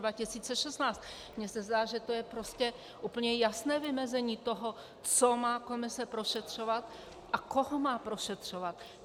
Mně se zdá, že to je prostě úplně jasné vymezení toho, co má komise prošetřovat a koho má prošetřovat.